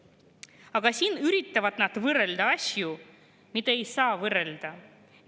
Aga siin üritavad nad võrrelda asju, mida ei saa võrrelda.